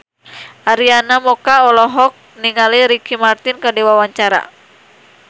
Arina Mocca olohok ningali Ricky Martin keur diwawancara